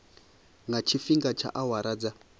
nga tshifhinga tsha awara dza